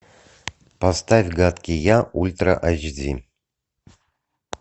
поставь гадкий я ультра айч ди